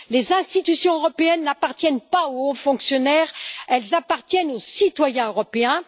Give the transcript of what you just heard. Les institutions européennes n'appartiennent pas aux hauts fonctionnaires, elles appartiennent aux citoyens européens.